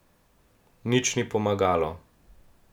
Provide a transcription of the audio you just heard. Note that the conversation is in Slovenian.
V Madridu devet nekdanjih katalonskih ministrov.